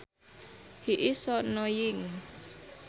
He is so annoying